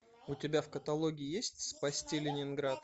у тебя в каталоге есть спасти ленинград